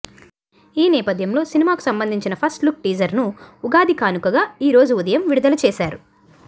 ఈ నేపథ్యంలో సినిమాకు సంబందించిన ఫస్ట్ లుక్ టీజర్ ను ఉగాది కానుకగా ఈరోజు ఉదయం విడుదల చేసారు